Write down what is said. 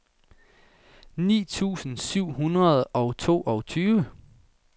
ni tusind syv hundrede og toogtyve